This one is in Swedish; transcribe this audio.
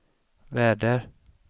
väder